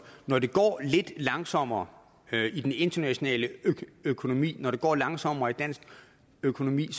når det går lidt langsommere i den internationale økonomi og når det går langsommere i dansk økonomi